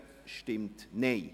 Abstimmung